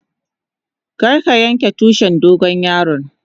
Kar ka yanka Tushin dogon yaron.